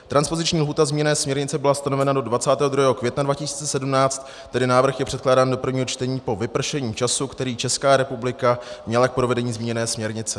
Transpoziční lhůta zmíněné směrnice byla stanovena do 22. května 2017, tedy návrh je předkládán do prvního čtení po vypršení času, který Česká republika měla k provedení zmíněné směrnice.